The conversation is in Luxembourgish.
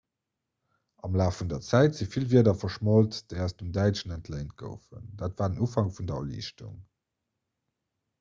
am laf vun der zäit si vill wierder verschmolt déi aus dem däitschen entléint goufen dat war den ufank vun der erliichtung